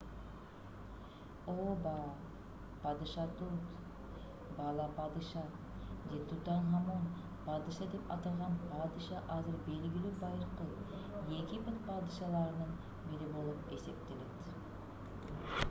ооба падыша тут бала падыша же тутанхамон падыша деп аталган падыша азыр белгилүү байыркы египет падышаларынын бири болуп эсептелет